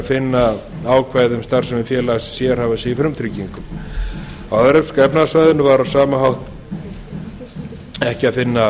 finna ákvæði um starfsemi félaga sem sérhæfa sig í frumtryggingum á evrópska efnahagssvæðinu var á sama hátt ekki að finna